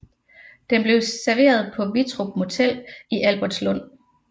Den blev serveret på Wittrup Motel i Albertslund